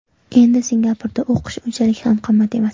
Endi Singapurda o‘qish unchalik ham qimmat emas.